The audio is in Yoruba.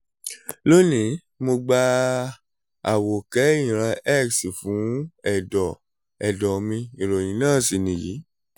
loni mo gba àwòkẹ́ ìran x fún ẹ̀dọ̀ ẹ̀dọ̀ mi ìròyìn náà sì nìyí